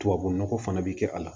Tubabunɔgɔ fana bɛ kɛ a la